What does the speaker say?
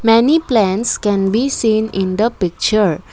many plants can be seen in the picture.